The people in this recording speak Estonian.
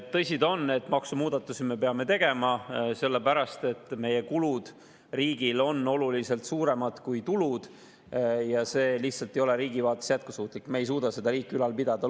Tõsi ta on, et maksumuudatusi me peame tegema, sellepärast et meie riigi kulud on oluliselt suuremad kui tulud ja see ei ole riigi vaates lihtsalt jätkusuutlik, me ei suuda riiki nii ülal pidada.